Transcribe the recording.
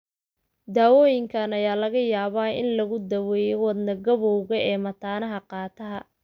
Daawooyinka ayaa laga yaabaa in lagu daweeyo wadne-gabowga ee mataanaha qaataha.